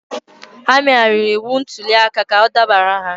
Ha megharịrị iwu ntuliaka ka ọ dabara ha